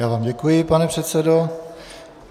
Já vám děkuji, pane předsedo.